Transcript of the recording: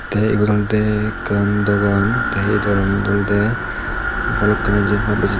tay yot olode ekkan dogan tay ei dogananot olode balokkani jiyen pai beje.